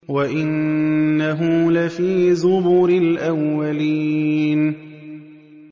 وَإِنَّهُ لَفِي زُبُرِ الْأَوَّلِينَ